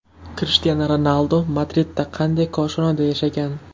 Krishtianu Ronaldu Madridda qanday koshonada yashagan?